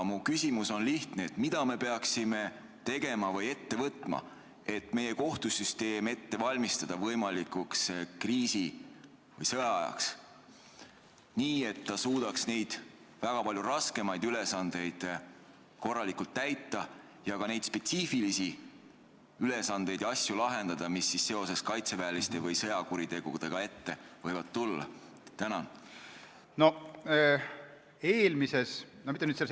Minu küsimus on lihtne: mida me peaksime tegema või ette võtma, et meie kohtusüsteemi ette valmistada võimalikuks kriisi- või sõjaajaks, nii et ta suudaks korralikult täita neid väga palju raskemaid ülesandeid ja lahendada ka neid spetsiifilisi ülesandeid ja asju, mis seoses kaitseväeliste või sõjakuritegudega ette võivad tulla?